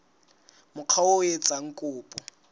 mokga oo a etsang kopo